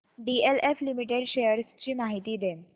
DLF limited shares ची माहिती दे